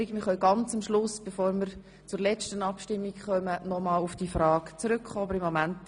Zur Erinnerung: Wir können ganz am Schluss, bevor wir zur letzten Abstimmung kommen, noch einmal auf diese Frage zurückkommen.